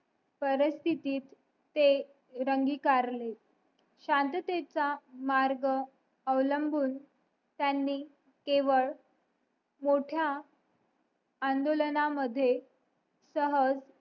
परस्तिथीत ते रंगी कार्ले शांततेचा मार्ग अवलंबून त्यांनी केवळ मोठ्या आंदोलना मध्ये सहज